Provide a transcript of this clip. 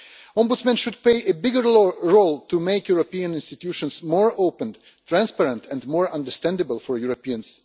Ombudsmen should play a bigger role in order to make the European institutions more open, transparent and more understandable for Europeans.